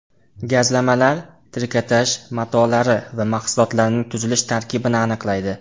Gazlamalar, trikotaj matolari va mahsulotlarining tuzilish tarkibini aniqlaydi.